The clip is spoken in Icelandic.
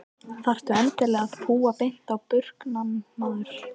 Þarftu endilega að púa beint á burknann maður?